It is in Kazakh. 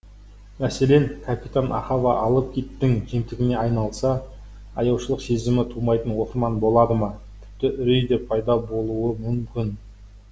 мәселен капитан ахава алып киттің жемтігіне айналса аяушылық сезімі тумайтын оқырман болады ма тіпті үрей де пайда болуы мүмкін